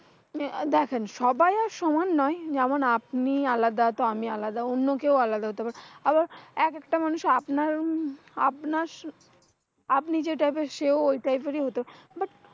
আহ দেখেন সবাই আর সমান নয় যেমন, আপনি আলাদা তো আমি আলাদা অন্য কেউ আলাদা হতে পারে। আবার এক একটা মানুষ আপনার উম আপনার। আপনি যেই type সেও ঐ type এর হত but